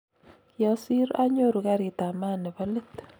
kiosir anyoru karit ab maat ni bo let.